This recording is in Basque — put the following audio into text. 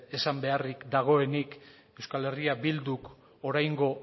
esan beharrik dagoenik euskal herria bilduk oraingo